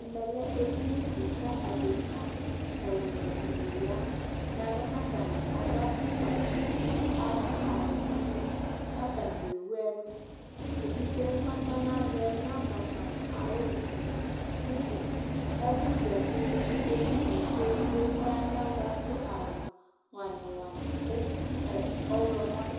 ɛmɛ lɛ ɛdini di kʋ adɛka ɛwlʋ dini yanʋ alɔ kʋ atani adʋ aƒʋkpa vi kʋ adʋ awʋ blue kʋ atami ɛwʋ ɛlʋ, ɛdigbɔɛ kʋ ɔtɔnʋ alɔɛ nabaƒa nʋ ayi ʋwɔɛ kʋ ɛƒʋ zati nidʋ ɛdiniɛ kʋ ɛdigbɔɛ kʋ ɔyanʋ alɔɛ dʋ awʋ wani wani kʋ ɔwlɔmɔ